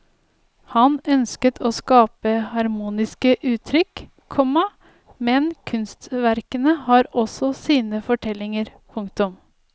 Han ønsker å skape harmoniske uttrykk, komma men kunstverkene har også sine fortellinger. punktum